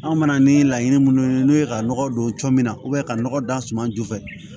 An mana ni laɲini minnu ye n'u ye ka nɔgɔ don cɔ min na ka nɔgɔ da suma ju fɛ